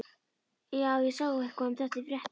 Já, ég sá eitthvað um þetta í fréttunum.